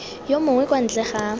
yo mongwe kwa ntle ga